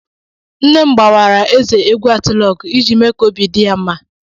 Nne m gbawara eze egwu atilogwu iji mee ka obi di ya mma.